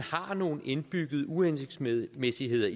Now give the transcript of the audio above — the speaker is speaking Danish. har nogle indbyggede uhensigtsmæssigheder